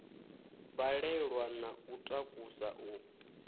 balelwa na u takusa u